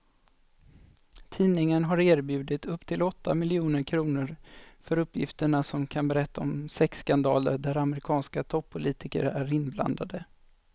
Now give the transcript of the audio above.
Tidningen har erbjudit upp till åtta miljoner kr för uppgifter som kan berätta om sexskandaler där amerikanska toppolitiker är inblandade.